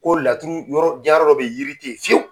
Ko laturu yɔrɔ jiyɛn yɔrɔ dɔ bɛ ye yiri tɛ ye fiyewu.